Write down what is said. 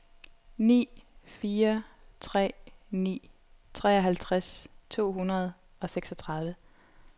ni fire tre ni treoghalvtreds to hundrede og seksogtredive